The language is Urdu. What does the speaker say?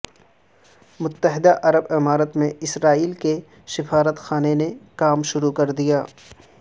متحدہ عرب امارات میں اسرائیل کے سفارت خانے نے کام شروع کر دیا